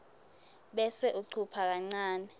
bese ucupha kancane